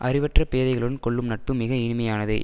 அறிவற்ற பேதைகளுடன் கொள்ளும் நட்பு மிகவும் இனிமையானது